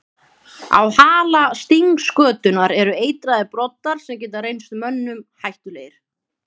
Á hala stingskötunnar eru eitraðir broddar sem geta reynst mönnum hættulegir.